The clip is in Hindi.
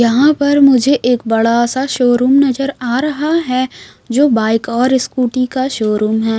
यहां पर मुझे एक बड़ा सा शोरूम नजर आ रहा है जो बाइक और स्कूटी का शोरूम है।